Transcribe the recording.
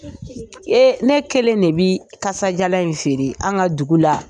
Ee ne kelen de bI kajalan in feere an ka dugu la.